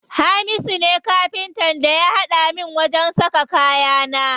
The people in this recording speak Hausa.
Hamisu ne Kafintan da ya haɗa min wajen saka kayana.